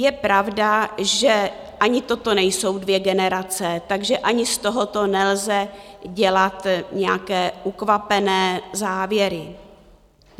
Je pravda, že ani toto nejsou dvě generace, takže ani z tohoto nelze dělat nějaké ukvapené závěry.